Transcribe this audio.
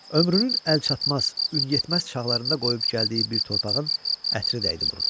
Ömrünün əlçatmaz, ün yetməz çağlarında qoyub gəldiyi bir torpağın ətri dəydi burnuna.